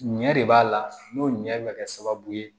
Ɲɛ de b'a la n'o ɲɛ bɛ kɛ sababu ye